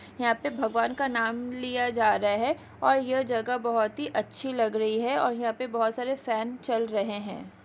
यहाँ पे भगवान का नाम लिया जा रहा है और यह जगह बहुत ही अच्छी लग रही है और यहाँ पे बहुत सारे फैन चल रहे है।